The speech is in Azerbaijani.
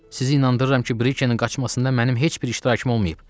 Sizi inandırıram ki, Brikenin qaçmasında mənim heç bir iştirakım olmayıb.